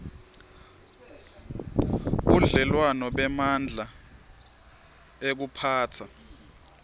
budlelwano bemandla ekuphatsa